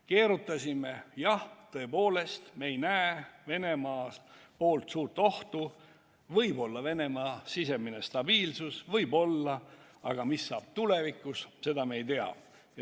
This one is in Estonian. Keerutasime: jah, tõepoolest, me ei näe Venemaa poolt suurt ohtu, võib-olla Venemaa on saavutanud sisemise stabiilsuse – võib-olla, aga mis saab tulevikus, seda me ei tea.